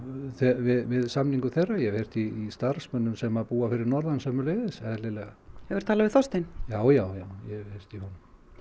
við samningu þeirra og hef heyrt í starfsmönnum sem búa fyrir norðan sömuleiðis eðlilega hefurðu talað við Þorstein já já já ég hef heyrt í honum